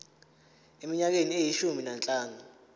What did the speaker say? eminyakeni eyishumi nanhlanu